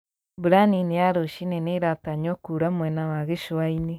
Mbura nini ya rũcinĩ nĩratanywo kuura mwena wa gĩcũa-inĩ